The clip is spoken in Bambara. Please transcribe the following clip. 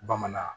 Bamanan